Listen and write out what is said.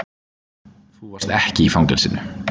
Þú varst ekki í fangelsinu.